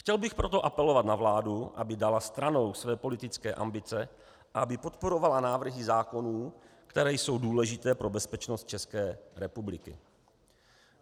Chtěl bych proto apelovat na vládu, aby dala stranou své politické ambice a aby podporovala návrhy zákonů, které jsou důležité pro bezpečnost České republiky.